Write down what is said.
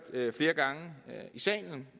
flere gange i salen